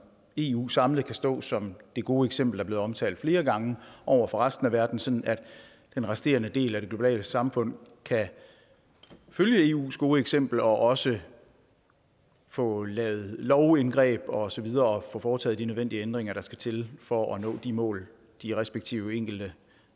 eu samlet kan stå som det gode eksempel der er blevet omtalt flere gange over for resten af verden sådan at den resterende del af det globale samfund kan følge eus gode eksempel og også få lavet lovindgreb og så videre og få foretaget de nødvendige ændringer der skal til for at nå de mål de respektive enkelte